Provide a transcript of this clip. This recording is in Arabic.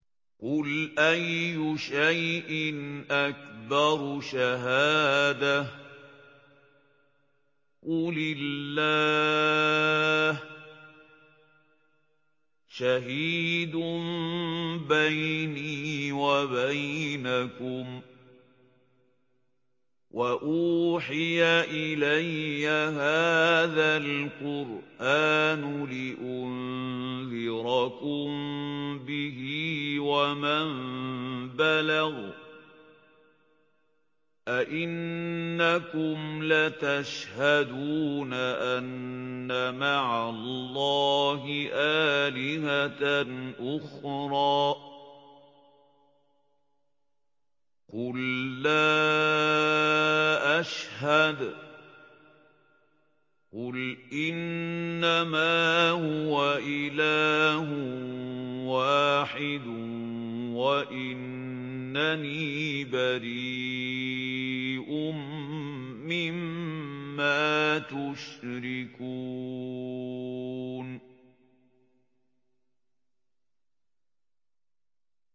قُلْ أَيُّ شَيْءٍ أَكْبَرُ شَهَادَةً ۖ قُلِ اللَّهُ ۖ شَهِيدٌ بَيْنِي وَبَيْنَكُمْ ۚ وَأُوحِيَ إِلَيَّ هَٰذَا الْقُرْآنُ لِأُنذِرَكُم بِهِ وَمَن بَلَغَ ۚ أَئِنَّكُمْ لَتَشْهَدُونَ أَنَّ مَعَ اللَّهِ آلِهَةً أُخْرَىٰ ۚ قُل لَّا أَشْهَدُ ۚ قُلْ إِنَّمَا هُوَ إِلَٰهٌ وَاحِدٌ وَإِنَّنِي بَرِيءٌ مِّمَّا تُشْرِكُونَ